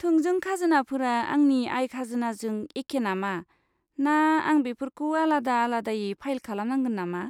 थोंजों खाजोनाफोरा आंनि आय खाजोनाजों एखे नामा, ना आं बेफोरखौ आलादा आलादायै फाइल खालामनांगोन नामा?